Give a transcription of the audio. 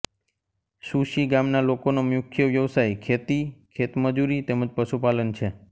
સુશી ગામના લોકોનો મુખ્ય વ્યવસાય ખેતી ખેતમજૂરી તેમ જ પશુપાલન છે